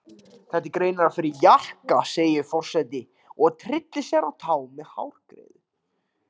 Þetta er greinilega fyrir jaka segir forseti og tyllir sér á tá með hárgreiðu.